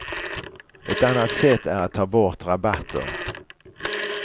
Ett annat sätt är att ta bort rabatter.